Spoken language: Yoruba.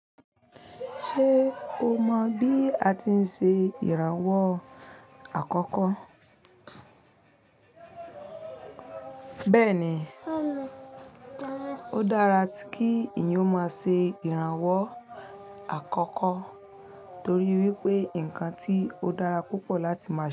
Ṣé o mọ bí a tí ń ṣe ìrànwọ́ àkọ́kọ́? Bẹ́ẹ̀ni, ó dára kí èèyàn ó máa ṣe ìrànwọ́ àkọ́kọ́ torí wípé nǹkan tí ó dára púpọ̀ láti máa.